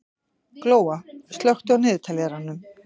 Glóa, slökktu á niðurteljaranum.